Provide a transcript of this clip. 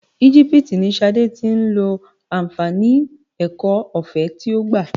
Igipiti ni Ṣadé tí ń lo àǹfààní ẹ̀kọ́ ọ̀fẹ́ tí ó gbà.